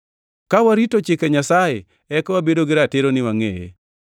Ka warito chike Nyasaye eka wabedo gi ratiro ni wangʼeye.